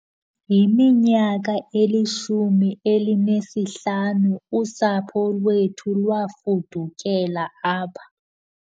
Yiminyaka elishumi elinesihlanu usapho lwethu lwafudukela apha